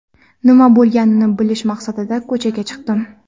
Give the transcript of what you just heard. Nima bo‘lganini bilish maqsadida ko‘chaga chiqdim.